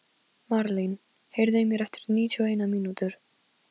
Marlín, heyrðu í mér eftir níutíu og eina mínútur.